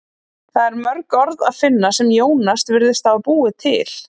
Þar er mörg orð að finna sem Jónas virðist hafa búið til.